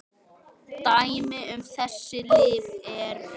Dæmi um þessi lyf eru